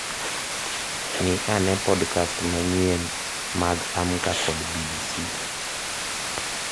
Ng'i ane podcasts manyien mag Amka kod b.b.c.